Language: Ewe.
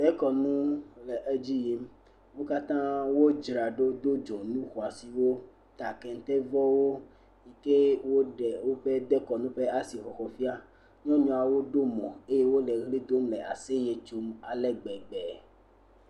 dekɔnu le edzi yim wókatã wo dzra ɖo wodó dzoŋu xɔasiwo ta kɛntɛ vɔwo ye woɖe wóƒe dekɔnu ƒe asixɔxɔ fiã nyɔnuawo ɖó mɔ eye wóle ɣli dome asɛyɛ tsom ale gbegbe